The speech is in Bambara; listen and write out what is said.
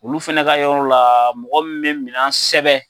Olu fana ka yɔrɔ la mɔgɔ min bɛ minɛn sɛbɛn